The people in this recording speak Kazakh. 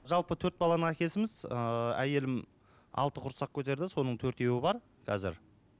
жалпы төрт баланың әкесіміз ііі әйелім алты құрсақ көтерді соның төртеуі бар қазір